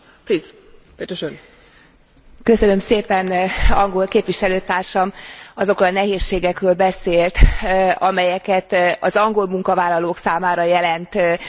Angol képviselőtársam azokról a nehézségekről beszélt, amelyet az angol munkavállalók számára jelent az oda irányuló bevándorlás.